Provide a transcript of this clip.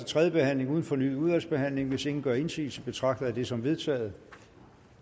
tredje behandling uden fornyet udvalgsbehandling hvis ingen gør indsigelse betragter jeg det som vedtaget